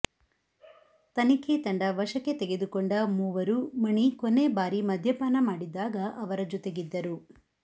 ತನಿಖೆ ತಂಡ ವಶಕ್ಕೆ ತೆಗೆದುಕೊಂಡ ಮೂವರು ಮಣಿ ಕೊನೆಬಾರಿ ಮದ್ಯಪಾನ ಮಾಡಿದಾಗ ಅವರ ಜೊತೆಗಿದ್ದರು